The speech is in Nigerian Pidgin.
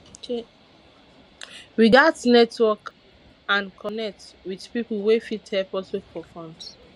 we gats network and connect with pipo wey fit help us look for funds